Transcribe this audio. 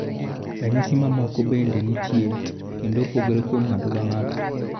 Ranyisi ma moko bende nitie kendo opogore kuom ng'ato ka ngato.